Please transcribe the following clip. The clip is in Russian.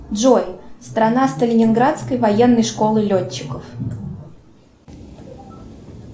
джой страна сталининградской военной школы летчиков